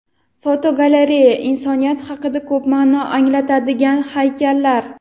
Fotogalereya: Insoniyat haqida ko‘p ma’no anglatadigan haykallar.